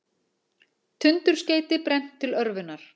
Tundurskeyti brennt til örvunar